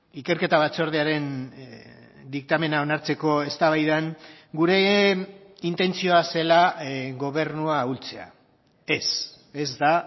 ikerketa batzordearen diktamena onartzeko eztabaidan gure intentzioa zela gobernua ahultzea ez ez da